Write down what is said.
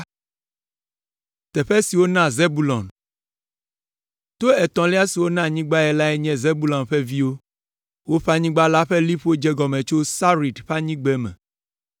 To etɔ̃lia si wona anyigbae lae nye Zebulon ƒe viwo. Woƒe anyigba la ƒe liƒo dze egɔme tso Sarid ƒe anyigbeme.